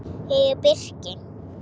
Ég er birki.